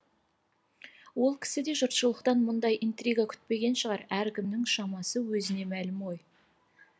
ол кісі де жұртшылықтан мұндай интрига күтпеген шығар әркімнің шамасы өзіне мәлім ғой